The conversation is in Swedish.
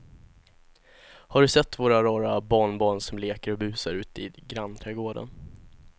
Har du sett våra rara barnbarn som leker och busar ute i grannträdgården!